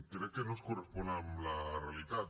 crec que no es correspon amb la realitat